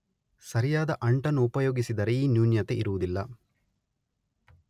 ಸರಿಯಾದ ಅಂಟನ್ನು ಉಪಯೋಗಿಸಿದರೆ ಈ ನೂನ್ಯತೆ ಇರುವುದಿಲ್ಲ